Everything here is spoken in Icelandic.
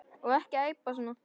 Og ekki æpa svona.